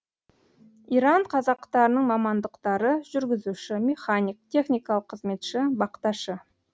иран қазақтарының мамандықтары жүргізуші механик техникалық қызметші бақташы